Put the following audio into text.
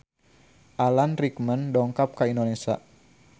Alan Rickman dongkap ka Indonesia